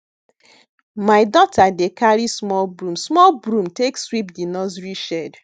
my daughter dey carry small broom small broom take sweep di nursery shed